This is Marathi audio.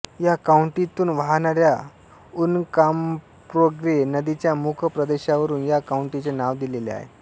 या काउंटीतून वाहणाऱ्या उनकॉम्पाग्रे नदीच्या मुखप्रदेशावरुन या काउंटीचे नाव दिलेले आहे